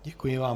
Děkuji vám.